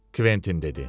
Kventin dedi.